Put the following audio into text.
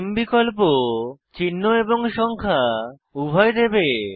নামে বিকল্প চিহ্ন এবং সংখ্যা উভয় দেবে